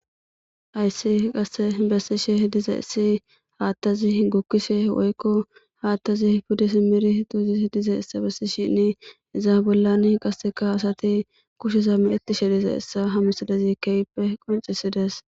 ayssi qasse bessishe diza issi haattazi gukkishe woykko haattazi pudis miri tuuzis diza issa bessi shinni izaa bollan qasseka hasati kusheza meetishe diza issa hamisadezi keyppe qoncisides